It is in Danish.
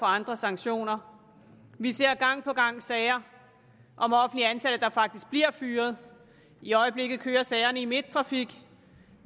andre sanktioner vi ser gang på gang sager om offentligt ansatte der faktisk bliver fyret i øjeblikket kører sagerne i midttrafik